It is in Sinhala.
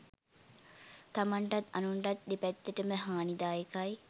තමන්ටත් අනුන්ටත් දෙපැත්තටම හානිදායකයි.